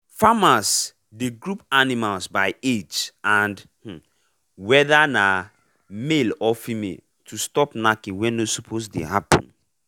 farmers dey group animals by age and um whether na um male or female to stop knacking wey no suppose dey happen.